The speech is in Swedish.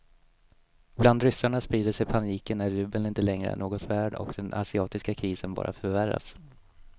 Bland ryssarna sprider sig paniken när rubeln inte längre är något värd och den asiatiska krisen bara förvärras.